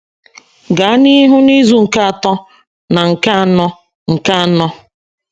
Gaa n’ihu n’izu nke atọ na nke anọ nke anọ.